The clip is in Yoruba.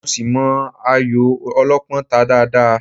Mo ṣì mọ ayò Ọlọ́pọ́n ta dáadáa